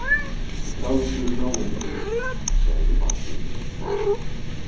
Kaldur náungi, sagði Marteinn.